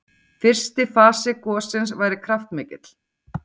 Fyrsti fasi gossins væri kraftmikill